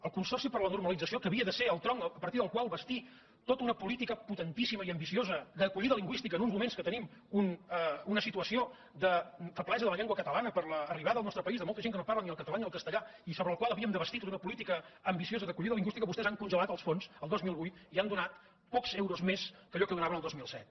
el consorci per a la normalització que havia de ser el tronc a partir del qual bastir tota una política potentíssima i ambiciosa d’acollida lingüística en uns moments que tenim una situació de feblesa de la llengua catalana per l’arribada al nostre país de molta gent que no parla ni el català ni el castellà i sobre el qual havíem de bastir tota una política ambiciosa d’acollida lingüística vostès n’han congelat els fons el dos mil vuit i hi han donat pocs euros més que allò que hi donaven el dos mil set